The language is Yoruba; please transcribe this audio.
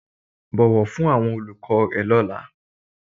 Bọ̀wọ̀ fún àwọn olùkọ́ rẹ lọ́la